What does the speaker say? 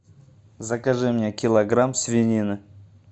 закажи мне килограмм свинины